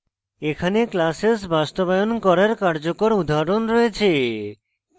এখানে classes বাস্তবায়ন করার কার্যকর উদাহরণ রয়েছে